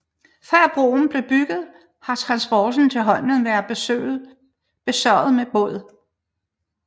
Før broen blev bygget har transporten til holmen været besørget med båd